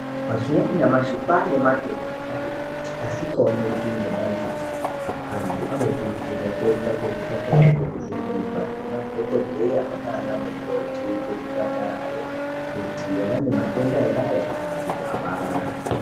Mazuwa anyamashi kwane matenda akati kuti asingaoneki ngemadziso antu anokurudzirwa kuenda muzvipatara kovhenekwa ngemadhokodheya nana mukoti kuzvipatarayo kuti vane matenda ere aya kana kuti avana.